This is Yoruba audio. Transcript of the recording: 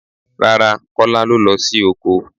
Rárá Kọ́lá lo lọ sí oko.